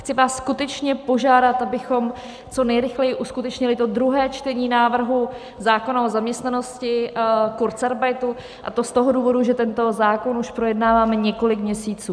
Chci vás skutečně požádat, abychom co nejrychleji uskutečnili to druhé čtení návrhu zákona o zaměstnanosti, kurzarbeitu, a to z toho důvodu, že tento zákon už projednáváme několik měsíců.